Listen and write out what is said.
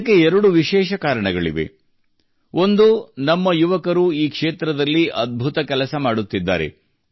ಇದಕ್ಕೆ ಎರಡು ವಿಶೇಷ ಕಾರಣಗಳಿವೆ ಒಂದು ನಮ್ಮ ಯುವಕರು ಈ ಕ್ಷೇತ್ರದಲ್ಲಿ ಅದ್ಭುತ ಕೆಲಸ ಮಾಡುತ್ತಿದ್ದಾರೆ